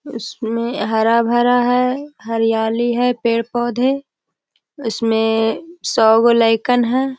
इसमें हरा-भरा है हरियाली है पेड़-पौधे उसमें सौ गुलाइकन हैं।